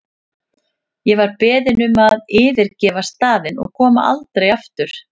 Ég var beðin um að yfirgefa staðinn og koma aldrei aftur.